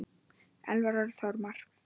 Elvar Örn Þormar.